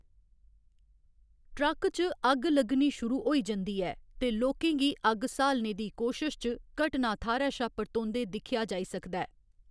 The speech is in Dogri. ट्रक च अग्ग लग्गनी शुरू होई जंदी ऐ ते लोकें गी अग्ग स्हालने दी कोशश च घटना थाह्‌रै शा परतोंदे दिक्खेआ जाई सकदा ऐ।